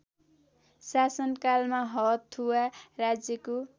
शासनकालमा हथुवा राज्यको